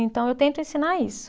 Então, eu tento ensinar isso.